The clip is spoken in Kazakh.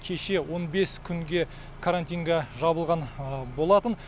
кеше он бес күнге карантинге жабылған болатын